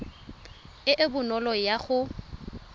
e e bonolo ya go